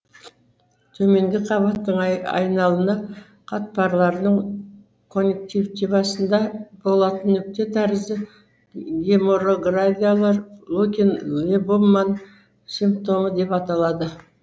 төменгі қабақтың айналына қатпарларының коньюнктивасында болатын нүкте тәрізді геморрагиялар лукин либуман симптомы деп аталады